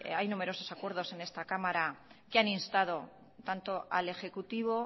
hay numerosos acuerdos en esta cámara que han instado tanto al ejecutivo